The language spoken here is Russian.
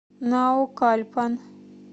наукальпан